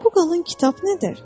Bu qalın kitab nədir?